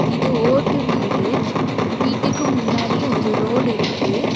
இது ஓட்டு வீடு வீட்டுக்கு முன்னாடி ஒரு ரோடு இருக்கு.